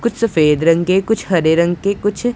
कुछ सफेद रंग के कुछ हरे रंग के कुछ--